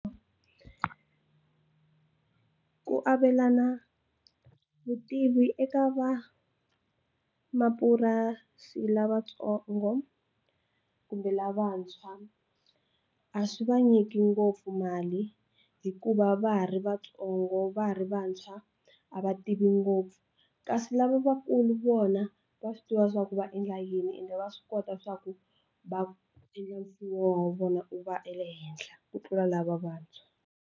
Ku avelana vutivi eka va mapurasi lavatsongo kumbe lavantshwa a swi va nyiki ngopfu mali hikuva va ha ri vatsongo va ha ri vantshwa a va tivi ngopfu kasi lavakulu vona va swi tiva swa ku va endla yini ende va swi kota swa ku va endla wa vona wu va wu ri ehenhla ku tlula lava vantshwa.